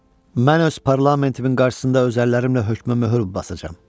Mən öz parlamentimin qarşısında özəllərimlə hökmə möhür basacam.